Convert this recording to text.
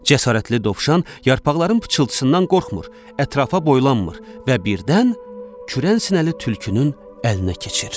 Cəsarətli dovşan yarpaqların pıçıltısından qorxmur, ətrafa boylanmır və birdən kürən sinəli tülkünün əlinə keçir.